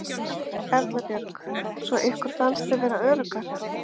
Erla Björg: Svo ykkur fannst þið vera öruggar?